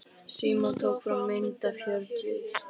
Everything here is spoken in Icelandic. Símon tók fram myndina af Hjördísi.